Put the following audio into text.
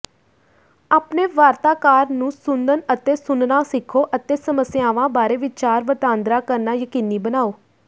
ਆਪਣੇ ਵਾਰਤਾਕਾਰ ਨੂੰ ਸੁਣਨ ਅਤੇ ਸੁਣਨਾ ਸਿੱਖੋ ਅਤੇ ਸਮੱਸਿਆਵਾਂ ਬਾਰੇ ਵਿਚਾਰ ਵਟਾਂਦਰਾ ਕਰਨਾ ਯਕੀਨੀ ਬਣਾਓ